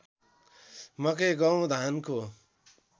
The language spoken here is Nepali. मकै गहुँ धानको